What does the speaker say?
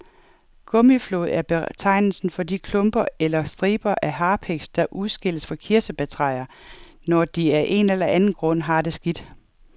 Gummiflåd er betegnelsen for de klumper eller striber af harpiks, der udskilles fra kirsebærtræer, når de af en eller anden grund har det skidt.